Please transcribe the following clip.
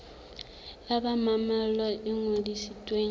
ya ba mmalwa e ngodisitsweng